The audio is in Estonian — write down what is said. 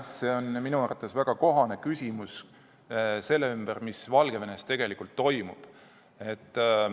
See on minu arvates väga kohane küsimus seotuna sellega, mis Valgevenes tegelikult toimub.